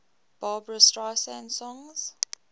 barbra streisand songs